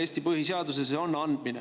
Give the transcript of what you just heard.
See on andmine!